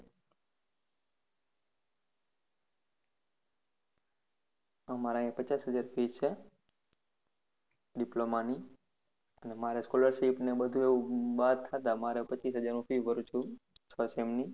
આમરે અહિયાં પચાસ હાજર fees છે diploma ની અને મારે scholarship ને આવું બધું બાદ કરતા પચીસ હાજર હું fees ભરું છું છ sem ની